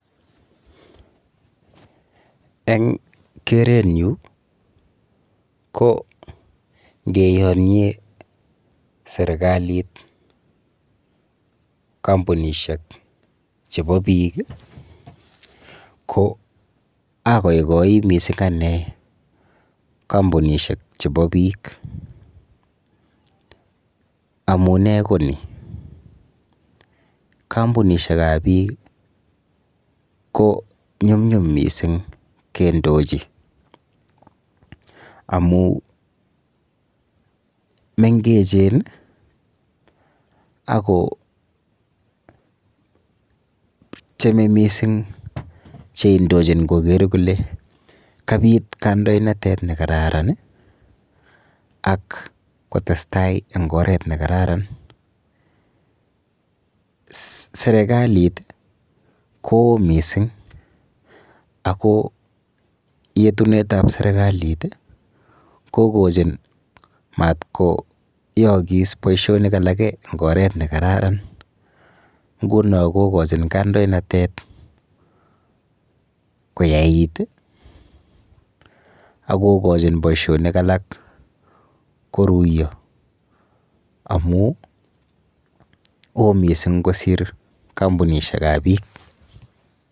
Eng keretnyu ko ngeyonye serikalit kampunishek chebo biik ko akoikoi missing ane kampunishek chebo biik amune ko ni kampunishek ap biik ko nyumnyum missing kendochi amu mengechen ako tyemei missing cheindochin koker kole kabit kandoinatet nekararan ak kotestai eng oret ne kararan serikalit ko yo missing ako yetunet ap serikalit kokochin matko yookis boishonik alake eng oret nekararan nguno kokochin kandoinatet koyait akokochin boishonik alak koruiyo amu oo missing kosir kampunishek ap biik